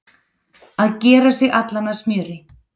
Að gera sig allan að smjöri